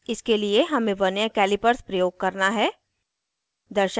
इसके लिए हमें वर्नियर कैलिपर प्रयोग करना है